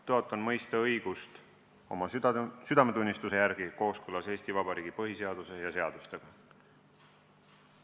Tõotan mõista õigust oma südametunnistuse järgi kooskõlas Eesti Vabariigi põhiseaduse ja seadustega.